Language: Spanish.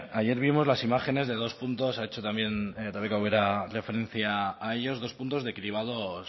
ayer vimos las imágenes de dos puntos ha hecho también rebeka ubera referencia a ellos dos puntos de cribados